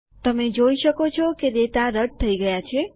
તમે જોઈ શકો છો કે ડેટા રદ થઇ ગયા છે